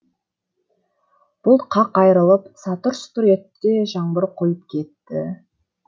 бұлт қақ айрылып сатыр сұтыр етті де жаңбыр құйып кетті